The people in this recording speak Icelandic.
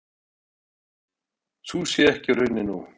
Sú sé ekki raunin nú.